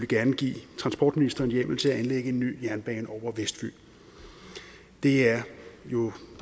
gerne give transportministeren hjemmel til at anlægge en ny jernbane over vestfyn det er jo